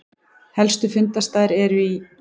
Helstu fundarstaðir eru í